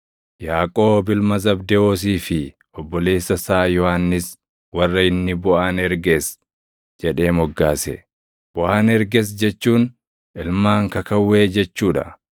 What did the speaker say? Yaaqoob ilma Zabdewoosii fi obboleessa isaa Yohannis warra inni “Boʼanergees” jedhee moggaase; Boʼanergees jechuun ilmaan “Kakawwee” jechuu dha;